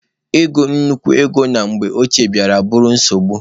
Ị gụ nnukwu ego na mgbe ochie bịara bụrụ nsogbu.